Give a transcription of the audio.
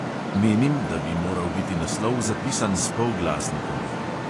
Menim, da bi moral biti naslov zapisan s polglasnikom.